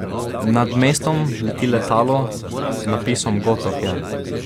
Nad mestom leti letalo z napisom Gotof je.